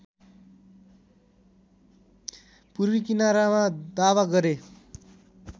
पूर्वी किनारामा दावा गरे